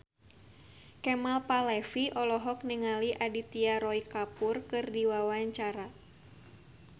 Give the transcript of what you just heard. Kemal Palevi olohok ningali Aditya Roy Kapoor keur diwawancara